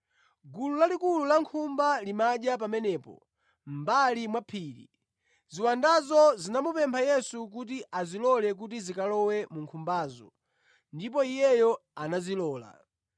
Gulu lalikulu la nkhumba limadya pamenepo mʼmbali mwa phiri. Ziwandazo zinamupempha Yesu kuti azilole kuti zikalowe mu nkhumbazo ndipo Iye anazilola.